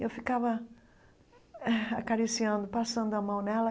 E eu ficava eh acariciando, passando a mão nela.